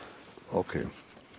ókei